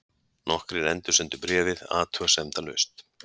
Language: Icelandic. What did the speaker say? Nokkrir endursendu bréfið athugasemdalaust.